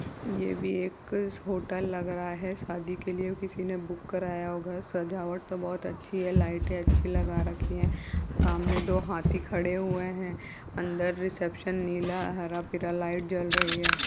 ये भी एक होटल लग रहा है। शादी के लिए किसी ने बुक काराया होगा। सजावट तो बहुत अच्छी है लाईटे अच्छी लगा रखी है। सामने दो हाथी खड़े हुए हैं। अन्दर रिसेप्शन नीला हरा पीला लाइट जल रही है।